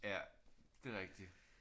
Ja. Det er rigtigt